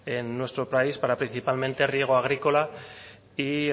en nuestro país para principalmente riego agrícola y